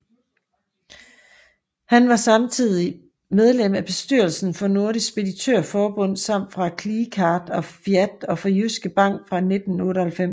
Han var samtidig medlem af bestyrelsen for Nordisk Speditørforbund samt for CLECAT og FIAT og for Jyske Bank fra 1998